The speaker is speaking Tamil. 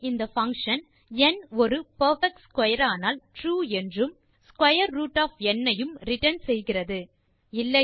இங்கே இந்த பங்ஷன் ந் ஒரு பெர்பெக்ட் ஸ்க்வேர் ஆனால் ட்ரூ என்றும் மற்றும் ஸ்க்வேர் ரூட் ஒஃப் ந் ஐயும் ரிட்டர்ன் செய்கிறது